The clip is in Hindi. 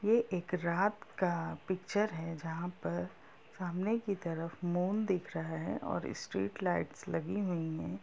ये एक रात का है जहा पे सामने की तरफ मून दिख रहा है और स्ट्रेट लाइट्स लगी हुई है।